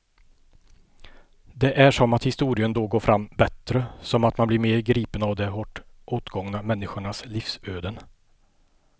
Det är som att historien då går fram bättre, som att man blir mer gripen av de hårt åtgångna människornas livsöden.